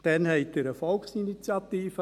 Damals lancierten Sie eine Volksinitiative.